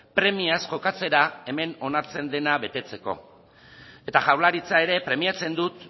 premiaz jokatzera hemen onartzen dena betetzeko eta jaurlaritza ere premiatzen dut